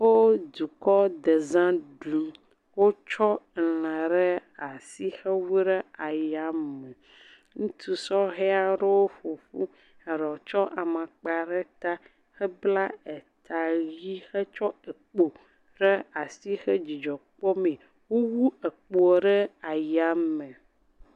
Wo dukɔ deza ɖum. Wotsɔ la ɖe asi hewu ɖe ayame. Ŋutsu sɔhɛ aɖewo ƒoƒu, eɖewo tsɔ amagba ɖe ta hebla ta ʋi hetsɔ kpo tsɔ asi kɔ dzidzɔ kpɔmee. Wowu ekpoa ɖe aya me.